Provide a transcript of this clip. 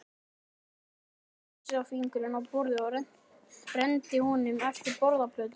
Jóhann setti vísifingurinn á borðið og renndi honum eftir borðplötunni.